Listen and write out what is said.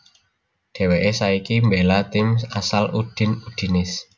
Dèwèké saiki mbéla tim asal Udine Udinese